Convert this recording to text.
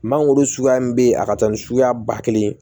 Mangoro suguya min bɛ yen a ka ca ni suguya ba kelen ye